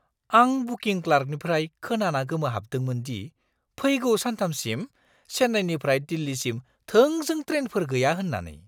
आं बुकिं क्लार्कनिफ्राय खोनाना गोमोहाबदोंमोन दि फैगौ सानथामसिम चेन्नाईनिफ्राय दिल्लीसिम थोंजों ट्रेनफोर गैया होन्नानै।